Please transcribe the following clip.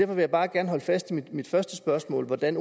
vil jeg bare gerne holde fast i mit første spørgsmål hvordan